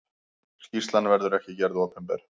Skýrslan verður ekki gerð opinber.